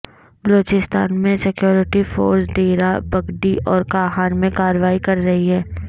بلوچستان میں security forces Dera Bugti اور کاہان میں کارروائی کر رہی ہیں